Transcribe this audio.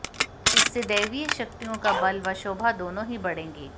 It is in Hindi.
इससे दैवीय शक्तियों का बल व शोभा दोनों ही बढ़ेंगी